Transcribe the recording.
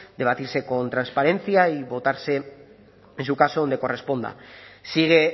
debatirse con transparencia y votarse en su caso donde corresponda sigue